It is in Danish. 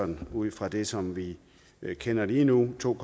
med ud fra det som vi kender lige nu to